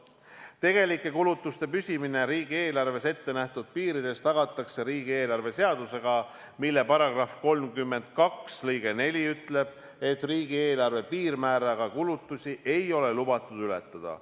" Tegelike kulutuste püsimine riigieelarves ettenähtud piirides tagatakse riigieelarve seadusega, mille § 32 lõige 4 ütleb, et piirmääraga kulutusi ei ole lubatud ületada.